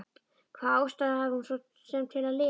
Hvaða ástæðu hafði hún svo sem til að lifa?